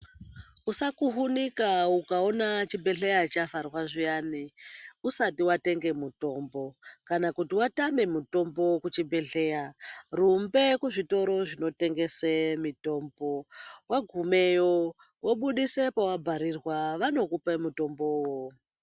Usakuhunuka ukaona chibhehleya chavharwa zviyani usati watenge mutombo, kana kuti watame mutombo kuchibhehleya, rumbe kuzvitoro zvinotengese mitombo wagumeyo wobudise pawabharirwa vanokupe mutombowo.